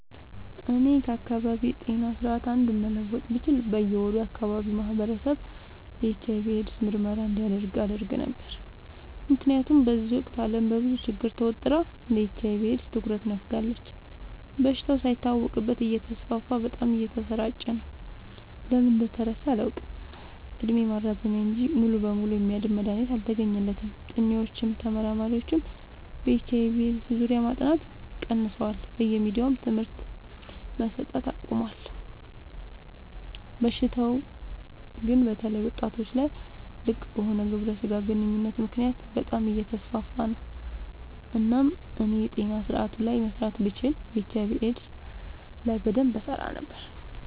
እኔ ከአካባቢዬ ጤና ስርዓት አንዱን መለወጥ ብችል በየ ወሩ የአካባቢው ማህበረሰብ የኤች/አይ/ቪ ኤድስ ምርመራ እንዲያደርግ አደረግ ነበር። ምክንያቱም በዚህ ወቅት አለም በብዙ ችግር ተወጥራ ለኤች/አይ/ቪ ኤድስ ትኩረት ነፋጋለች። በሽታው ሳይታወቅበት እተስፋፋ በጣም እየተሰራጨ ነው። ለምን እንደተረሳ አላውቅ እድሜ ማራዘሚያ እንጂ ሙሉ በሙሉ የሚያድን መድሀኒት አልተገኘለትም ጥኒዎችም ተመራማሪዎችም በኤች/አይ/ቪ ኤድስ ዙሪያ ማጥናት ቀንሰዋል በየሚዲያውም ትምህርት መሰት አቆሞል። በሽታው ግን በተለይ ወጣቶች ላይ ልቅበሆነ ግብረ ስጋ ግንኙነት ምክንያት በጣም አየተስፋፋ ነው። እናም እኔ የጤና ስረአቱ ላይ መስራት ብችል ኤች/አይ/ቪ ኤድስ ላይ በደንብ እሰራ ነበር።